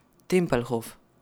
Tempelhof.